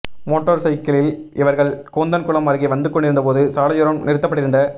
motor சைக்கிளில் இவா்கள் கூந்தன்குளம் அருகே வந்து கொண்டிருந்தபோது சாலையோரம் நிறுத்தப்பட்டிருந்த